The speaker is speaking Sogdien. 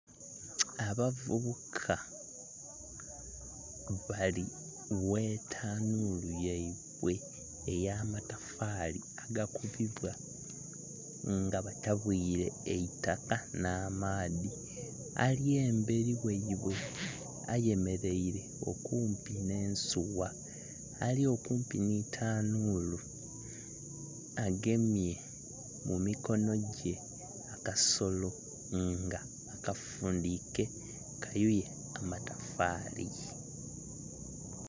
Abavubuka bali ghetanhulu yaibwe ey'amatafali agakubibwa nga batabwire eitaka n'amaadhi, ali emberi ghaibwe ayemeraire okumpi n'ensugha, ali okumpi ni ktanhulu agemye mumikono gye akasolo nga akafundhike kayuye amatafali.